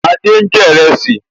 Adé n jẹ ìrẹsì